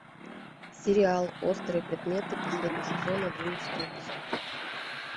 сериал острые предметы последний сезон одиннадцатый эпизод